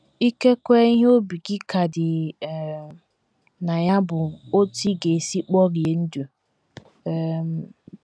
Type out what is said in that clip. Ikekwe ihe obi gị ka dị um na ya bụ otú ị ga - esi kporie ndụ. um